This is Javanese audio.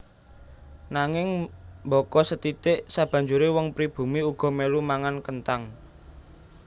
Nanging mbaka sethithik sabanjuré wong pribumi uga mèlu mangan kenthang